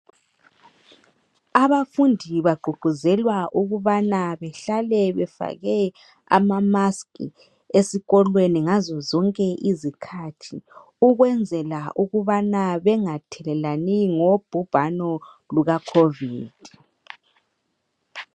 Abafundi bagqugquzelwa ukubana behlale befake ama "musk" esikolweni ngazozonke izikhathi, ukwenzela ukubana bengathelelani ngobhubhano luka Covid.